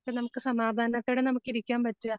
നമുക്ക് സമാദാനത്തോടെ നമുക്കിരിക്കാൻ പറ്റുവാ